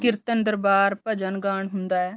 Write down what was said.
ਕੀਰਤਨ ਦਰਬਾਰ ਭਜਨ ਗਾਣ ਹੁੰਦਾ ਏ